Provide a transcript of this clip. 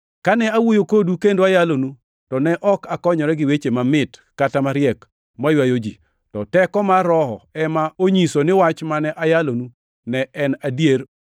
Kane awuoyo kodu kendo ayalonu, to ne ok akonyora gi weche mamit kata mariek maywayo ji, to teko mar Roho ema onyisou ni wach mane ayalonu ne en adier